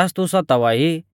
ज़ास तू सतावा ई